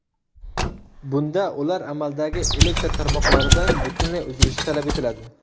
Bunda ular amaldagi elektr tarmoqlaridan butunlay uzilishi talab etiladi.